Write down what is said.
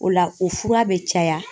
O la o fura bɛ caya.